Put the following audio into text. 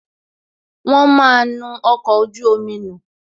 Wọn máa nu ọkọ̀ ojú omi nù